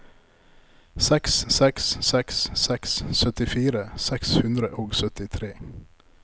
seks seks seks seks syttifire seks hundre og syttitre